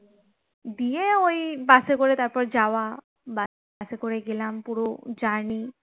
দিয়ে ওই bus এ করে তারপর যাওয়া bus এ করে গেলাম পুরো journey